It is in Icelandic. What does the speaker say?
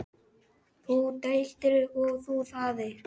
Þú deildir og þú þáðir.